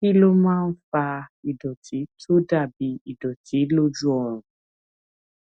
kí ló máa ń fa ìdòtí tó dà bí ìdòtí lójú ọrùn